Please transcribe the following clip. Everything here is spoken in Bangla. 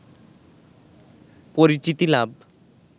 পরিচিতি লাভ